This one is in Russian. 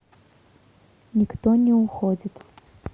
никто не уходит